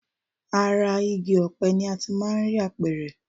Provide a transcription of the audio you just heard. Ara igi ọ̀pẹ ni a ti máà ń rí apẹ̀rẹ̀.